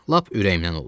Lap ürəyimdən oldu.